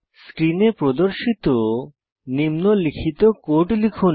স্ক্রিনে প্রদর্শিত নিম্নলিখিত কোড লিখুন